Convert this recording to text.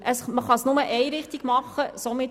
Aber man kann es nur in die eine Richtung tun.